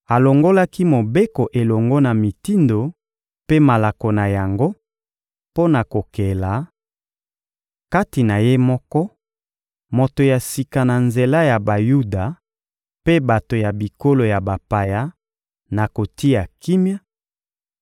alongolaki Mobeko elongo na mitindo mpe malako na yango mpo na kokela, kati na Ye moko, moto ya sika na nzela ya Bayuda mpe bato ya bikolo ya bapaya, na kotia kimia,